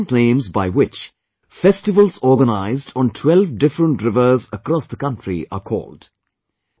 These are the different names by which festivals organized on 12 different rivers across the country are called